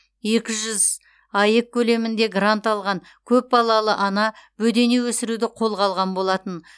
екі жүз аек көлемінде грант алған көп балалы ана бөдене өсіруді қолға алған болатын